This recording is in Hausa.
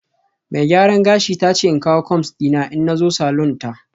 Mai gyaran gashi ta ce in kawo combs dina in na zo salon ta